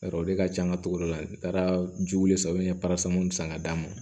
Yarɔ olu de ka can ka togoda la n taara jiwele sanfɛ n ye san ka d'a ma